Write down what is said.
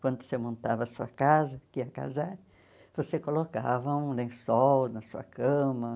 Quando você montava a sua casa, que ia casar, você colocava um lençol na sua cama.